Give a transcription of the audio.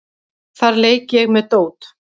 Þar leik ég með dót.